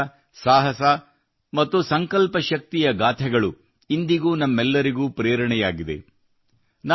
ಅವರ ತ್ಯಾಗ ಸಾಹಸ ಮತ್ತು ಸಂಕಲ್ಪ ಶಕ್ತಿಯ ಗಾಥೆಗಳು ಇಂದಿಗೂ ನಮ್ಮೆಲ್ಲರಿಗೂ ಪ್ರೇರಣೆಯಾಗಿದೆ